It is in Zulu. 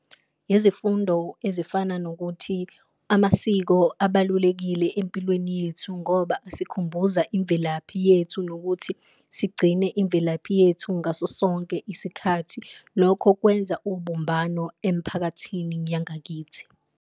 Izifundo ezifana nokuthi amasiko abalulekile empilweni yethu ngoba asikhumbuza imvelaphi yethu, nokuthi sigcine imvelaphi yethu ngaso sonke isikhathi. Lokho kwenza ubumbano emphakathini yangakithi.